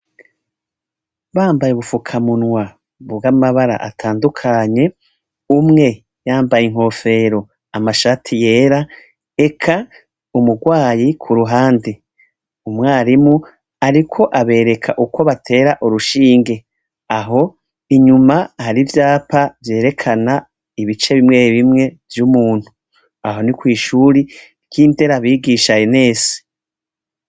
Bambaye ubufukamunwa buwa amabara atandukanye umwe yambaye inkofero amashati yera eka umurwayi ku ruhande umwarimu, ariko abereka uko batera urushinge aho inyuma hari ivyapa jereka kana ibice bimwei bimwe vy'umuntu aho ni kw'ishuri ty'inderabigishaye nese.